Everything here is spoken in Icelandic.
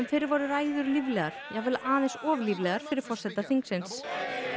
fyrr voru ræður líflegar jafnvel aðeins of líflegar fyrir forseta þingsins